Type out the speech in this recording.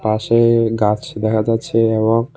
পাশে গাছ দেখা যাচ্ছে এবং--